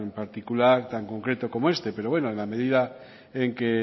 particular tan concreto como este pero bueno en la medida en que